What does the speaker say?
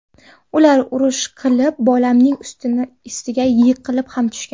Ular urush qilib, bolamning ustiga yiqilib ham tushgan.